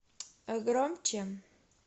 громче